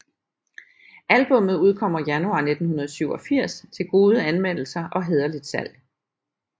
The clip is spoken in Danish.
Albummet udkommer Januar 1987 til gode anmeldelser og hæderligt salg